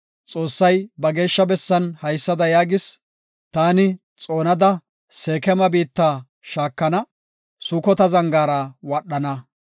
Xoossay ba geeshsha bessan haysada yaagis; “Taani xoonada Seekema biitta shaakana; Sukota zangaara wadhana.